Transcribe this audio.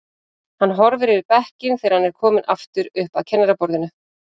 Hann horfir yfir bekkinn þegar hann er kominn aftur upp að kennaraborðinu.